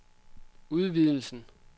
udvidelsen